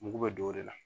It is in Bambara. Mugu bɛ don o de la